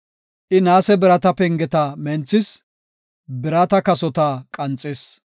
I naase birata pengeta menthis; birata kasota qanxis.